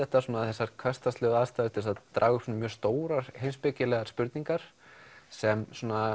þessar hversdagslegu aðstæður til þess að draga upp stórar heimspekilegar spurningar sem